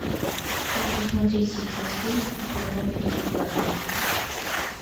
хочу смотреть сейчас фильм у холмов есть глаза